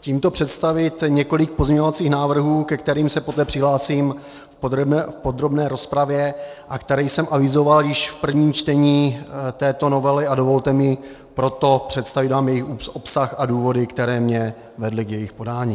tímto představit několik pozměňovacích návrhů, ke kterým se potom přihlásím v podrobné rozpravě a které jsem avizoval již v prvním čtení této novely, a dovolte mi proto představit vám jejich obsah a důvody, které mě vedly k jejich podání.